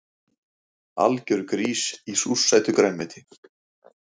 Algjör grís í súrsætu grænmeti